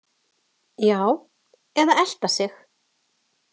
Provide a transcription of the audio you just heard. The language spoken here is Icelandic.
Já, eða elta sig.